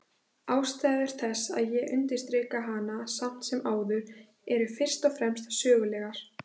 Ástæður þess að ég undirstrika hana samt sem áður eru fyrst og fremst sögulegar.